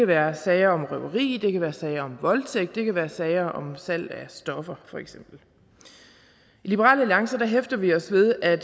være sager om røveri det kan være sager om voldtægt og det kan være sager om salg af stoffer i liberal alliance hæfter vi os ved at